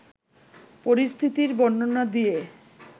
পরিস্থিতির বর্ণনা দিয়ে